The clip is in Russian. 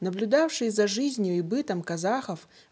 наблюдавший за жизнью и бытом казахов